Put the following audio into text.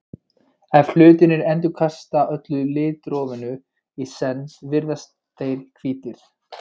ef hlutir endurkasta öllu litrófinu í senn virðast þeir hvítir